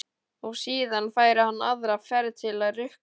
Og síðan færi hann aðra ferð til að rukka.